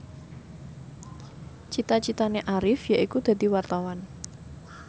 cita citane Arif yaiku dadi wartawan